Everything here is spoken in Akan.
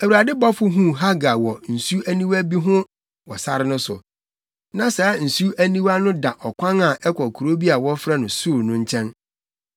Awurade bɔfo huu Hagar wɔ nsu aniwa bi ho wɔ sare no so. Na saa nsu aniwa no da ɔkwan a ɛkɔ kurow bi a wɔfrɛ no Sur no nkyɛn.